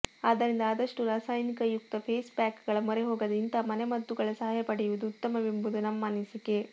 ಆದ್ದರಿಂದ ಆದಷ್ಟು ರಾಸಾಯನಿಕಯುಕ್ತ ಫೇಸ್ ಪ್ಯಾಕ್ ಗಳ ಮೊರೆ ಹೋಗದೆ ಇಂತಹ ಮನೆಮದ್ದುಗಳ ಸಹಾಯ ಪಡೆಯುವುದು ಉತ್ತಮವೆಂಬುದು ನಮ್ಮ ಅನಿಸಿಕೆ